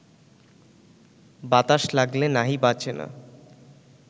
বাতাস লাগলে নাহি বাচে না